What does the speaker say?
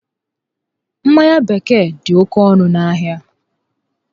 Mmanya bekee dị oké ọnụ ahịa